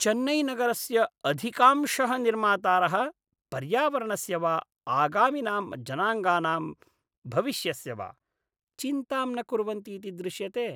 चेन्नैनगरस्य अधिकांशः निर्मातारः पर्यावरणस्य वा आगामिनां जनाङ्गानां भविष्यस्य वा चिन्तां न कुर्वन्ति इति दृश्यते।